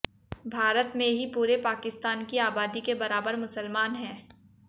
भारत में ही पूरे पाकिस्तान की आबादी के बराबर मुसलमान हैं